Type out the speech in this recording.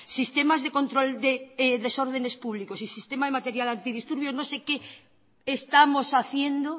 sistemas de control de desordenes públicos y sistema de material antidisturbio no sé qué estamos haciendo